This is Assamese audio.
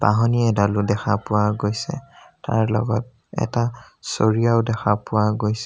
বাঢ়নী এডালো দেখা পোৱা গৈছে তাৰ লগত এটা চৰিয়াও দেখা পোৱা গৈছে।